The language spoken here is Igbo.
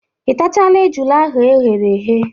Ị tachala ejula ahụ eghere eghe?